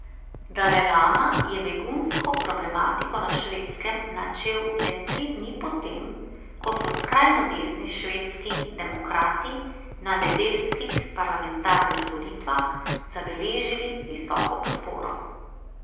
Dalajlama je begunsko problematiko na Švedskem načel le tri dni potem, ko so skrajno desni Švedski demokrati na nedeljskih parlamentarnih volitvah zabeležili visoko podporo.